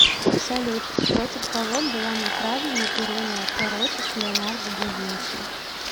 салют против кого была направлена ирония пророчеств леонардо да винчи